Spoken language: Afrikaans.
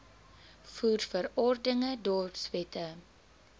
voer verordeninge dorpswette